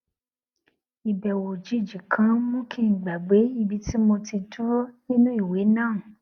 ìbèwò òjijì kan mú kí n gbàgbé ibi tí mo ti dúró nínú ìwé náà